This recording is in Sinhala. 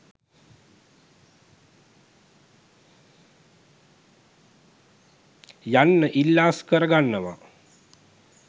යන්න ඉල්ලා අස්කර ගන්නවා.